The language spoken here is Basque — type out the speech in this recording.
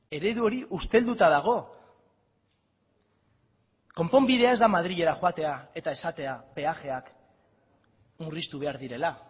eredu hori ustelduta dago konponbidea ez da madrilera joatea eta esatea peajeak murriztu behar direla